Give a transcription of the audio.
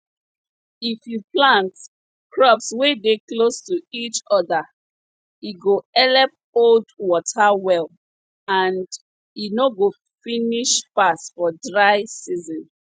if you plant crops wey dey close to each other e go helep hold water well and e no go finish fast for dry season